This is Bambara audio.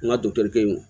N ka